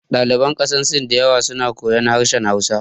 Ɗaliban ƙasar sin da yawa suna koyan harshen hausa